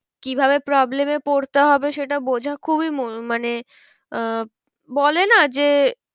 কি ভাবে problem এ পড়তে হবে সেটা বোঝা খুবই মানে আহ বলে না যে